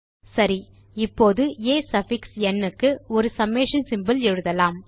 சரி இப்போது ஆ சஃபிக்ஸ் ந் க்கு ஒரு சம்மேஷன் சிம்போல் எழுதலாம்